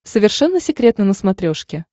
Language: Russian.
совершенно секретно на смотрешке